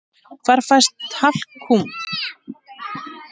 Hvar fæst talkúm?